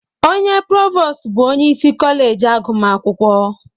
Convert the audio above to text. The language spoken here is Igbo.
Onye provos bụ onye isi kọleji agụmakwụkwọ.